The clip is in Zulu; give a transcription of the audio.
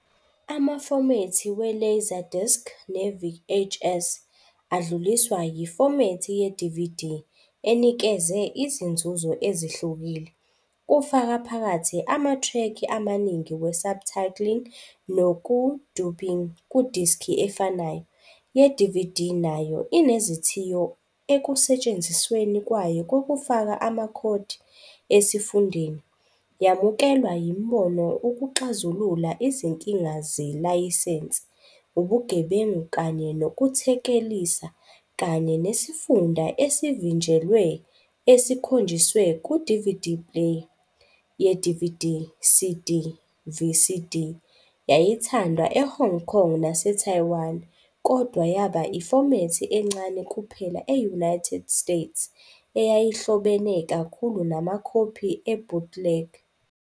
Amafomethi we-LaserDisc ne-VHS adluliswa yifomethi ye-DVD enikeze izinzuzo ezihlukile, kufaka phakathi amathrekhi amaningi we-subtitling nokudubbing kudiski efanayo. yeDVD nayo inezithiyo ekusetshenzisweni kwayo kokufaka amakhodi esifundeni, yamukelwa yimboni ukuxazulula izinkinga zelayisense, ubugebengu kanye nokuthekelisa kanye nesifunda esivinjelwe esikhonjiswe ku-DVD player. ye- Video CD, VCD, yayithandwa eHong Kong naseTaiwan, kodwa yaba ifomethi encane kuphela e-United States eyayihlobene kakhulu namakhophi e- bootleg.